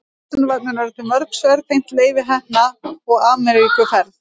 á vísindavefnum eru til mörg svör tengd leifi heppna og ameríkuferð hans